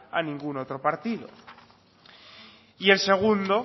a ningún otro partido y el segundo